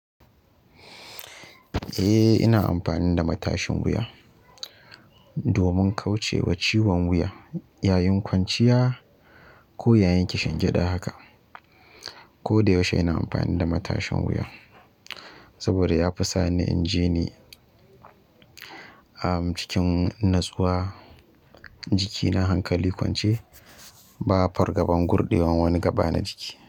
Eh, ina amfani da matashin wuya domin kauce wa ciwon wuya yayin kwanciya ko yayin kishingida haka. Ko da yaushe ina amfani da matashin wuya saboda ya fi sani in ji ni, a cikin natsuwa jikina hankali kwance ba fargabar gurɗewan wani gaba na jiki.